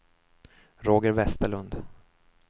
Roger Westerlund